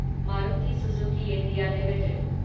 Maruti Suzuki India limited